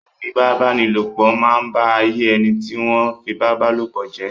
Ìfipábánilòpọ̀ máa ń ba ayé ẹni tí wọ́n fipábálòpọ̀ jẹ́.